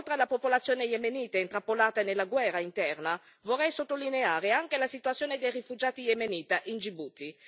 Oltre alla popolazione yemenita, intrappolata nella guerra interna, vorrei sottolineare anche la situazione dei rifugiati yemeniti in Gibuti.